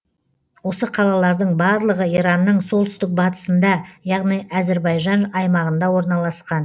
осы қалалардың барлығы иранның солтүстік батысында яғни әзірбайжан аймағында орналасқан